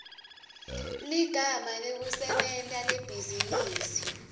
ligama lekusebenta lebhizinisi